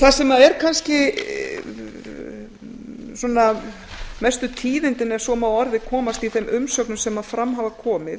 það sem eru kannski mestu tíðindin ef svo má að orði komast í þeim umsögnum sem fram hafa komið